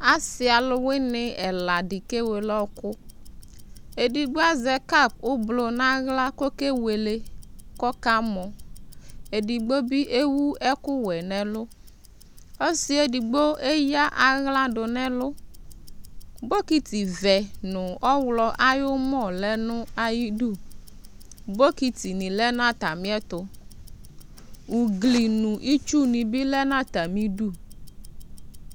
Asɩ alʋwɩnɩ ɛla dɩ kewele ɔɣɔkʋ Edigbo azɛ kap ʋblʋ nʋ aɣla kʋ ɔkewele kʋ ɔkamɔ Edigbo bɩ ewu ɛkʋwɛ nʋ ɛlʋ Ɔsɩ yɛ edigbo eyǝ aɣla dʋ nʋ ɛlʋ Bɔkɩtɩvɛ nʋ ɔɣlɔ ayʋ ʋmɔ lɛ nʋ ayidu Bɔkɩtɩnɩ lɛ nʋ atamɩɛtʋ Ugli nʋ itsunɩ bɩ lɛ nʋ atamɩdu